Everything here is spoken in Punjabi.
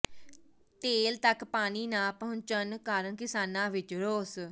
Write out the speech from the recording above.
ਟੇਲ ਤੱਕ ਪਾਣੀ ਨਾ ਪਹੁੰਚਣ ਕਾਰਨ ਕਿਸਾਨਾਂ ਵਿੱਚ ਰੋਸ